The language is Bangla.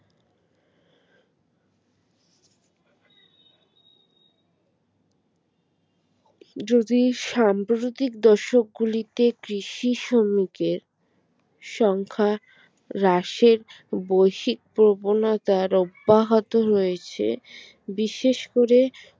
যদি সাম্প্রতিক দর্শকগুলিতে কৃষি শ্রমিকের সংখ্যা হ্রাসের বৈশিক প্রবণতার অব্যাহত রয়েছে বিশেষ করে